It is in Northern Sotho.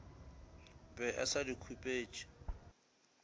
be a sa di khupetše